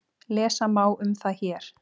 Lesa má um það hér.